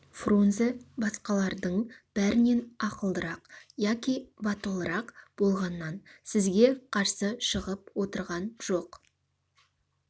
фрунзе басқалардың бәрінен ақылдырақ яки батылырақ болғаннан сізге қарсы шығып отырған жоқ